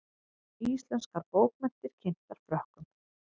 Íslenskar bókmenntir kynntar Frökkum